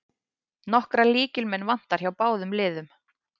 Nokkra lykilmenn vantar hjá báðum liðum